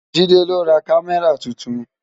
Jide lò rá Kàmárá tútún